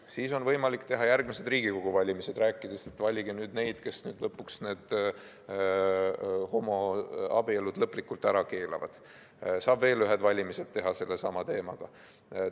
Siis on võimalik järgmistel Riigikogu valimistel rääkida, et valige nüüd neid, kes need homoabielud lõpuks lõplikult ära keelavad, saab veel ühed valimised sellesama teemaga ära teha.